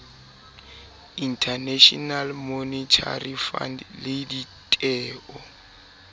international monetary fund le ditheo